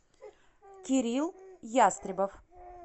кирилл ястребов